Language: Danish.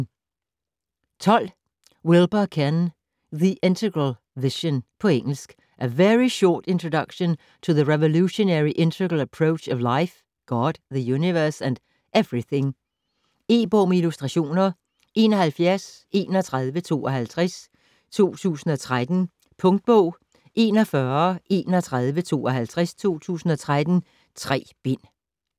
12 Wilber, Ken: The integral vision På engelsk. A very short introduction to the revolutionary integral approach to life, God, the universe, and everything. E-bog med illustrationer 713152 2013. Punktbog 413152 2013. 3 bind.